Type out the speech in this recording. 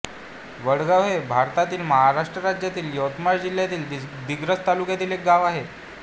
वडगाव हे भारतातील महाराष्ट्र राज्यातील यवतमाळ जिल्ह्यातील दिग्रस तालुक्यातील एक गाव आहे